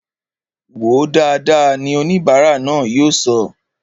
Wòó dáadáa! ni oníbara náà yóò sọ